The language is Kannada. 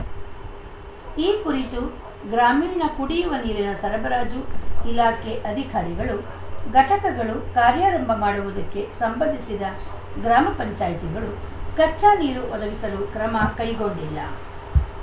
ಈ ಕುರಿತು ಗ್ರಾಮೀಣ ಕುಡಿಯುವ ನೀರಿನ ಸರಬರಾಜು ಇಲಾಖೆ ಅಧಿಕಾರಿಗಳು ಘಟಕಗಳು ಕಾರ್ಯಾರಂಭ ಮಾಡುವುದಕ್ಕೆ ಸಂಬಂಧಿಸಿದ ಗ್ರಾಮ ಪಂಚಾಯತಿಗಳು ಕಚ್ಚಾ ನೀರು ಒದಗಿಸಲು ಕ್ರಮ ಕೈಗೊಂಡಿಲ್ಲ